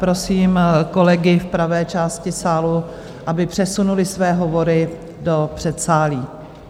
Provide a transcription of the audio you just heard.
Prosím kolegy v pravé části sálu, aby přesunuli své hovory do předsálí.